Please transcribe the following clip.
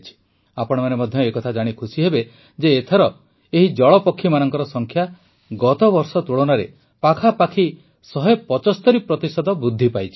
ଆପଣମାନେ ମଧ୍ୟ ଏ କଥା ଜାଣି ଖୁସି ହେବେ ଯେ ଏଥର ଏହି ଜଳପକ୍ଷୀମାନଙ୍କ ସଂଖ୍ୟା ଗତବର୍ଷ ତୁଳନାରେ ପାଖାପାଖି ୧୭୫ ପ୍ରତିଶତ ବୃଦ୍ଧି ପାଇଛି